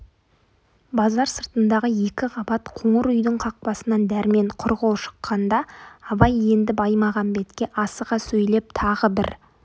базар сыртындағы екі қабат қоңыр үйдің қақпасынан дәрмен құр қол шыққанда абай енді баймағамбетке асыға сөйлеп тағы бір